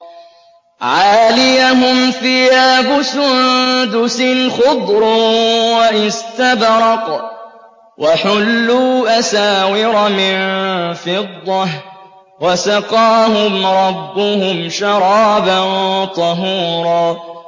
عَالِيَهُمْ ثِيَابُ سُندُسٍ خُضْرٌ وَإِسْتَبْرَقٌ ۖ وَحُلُّوا أَسَاوِرَ مِن فِضَّةٍ وَسَقَاهُمْ رَبُّهُمْ شَرَابًا طَهُورًا